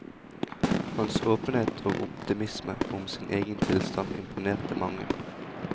Hans åpenhet og optimisme om sin egen tilstand imponerte mange.